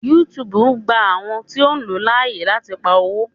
YouTube gba àwọn tíó o ló láàyè lati pá owo.